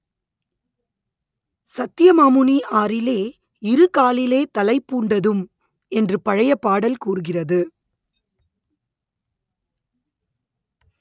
சத்ய மாமுனி ஆறிலே இருகாலிலே தளைப்பூண்டதும் என்று பழைய பாடல் கூறுகிறது